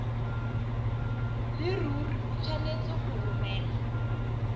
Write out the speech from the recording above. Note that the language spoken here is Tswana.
leruri o tshwanetse go romela